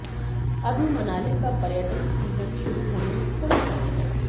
अभी मनाली का पर्यटन सीजन शुरू होने में थोड़ा समय है